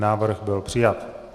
Návrh byl přijat.